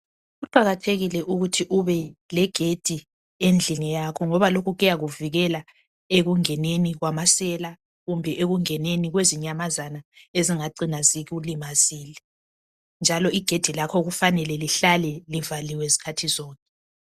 Kuqakathekile ukuthi ube legedi endlini yakho ngoba lokhu kuyakuvikela ekungeneni kwamasela kumbe ekungeneni kwezinyamazana ezingacina zikulimazile. Njalo igedi lakho kufanele lihlale livaliwe zikhathi zonke.